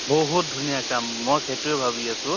বহুত ধুনীয়া কাম, মই সেইটোয়ে ভাবি আছো